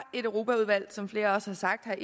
et europaudvalg som flere også har sagt